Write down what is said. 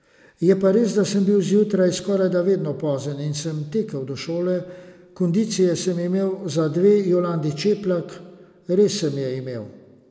Je pa res, da sem bil zjutraj skorajda vedno pozen in sem tekel do šole, kondicije sem imel za dve Jolandi Čeplak, res sem je imel.